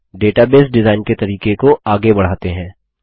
अब database design के तरीके को आगे बढ़ाते हैं